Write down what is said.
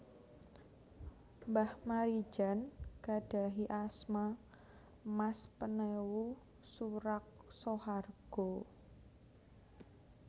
Mbah Maridjan gadhahi asma Mas Penewu Suraksohargo